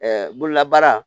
bololabaara